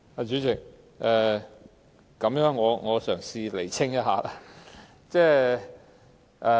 主席，我嘗試釐清事實。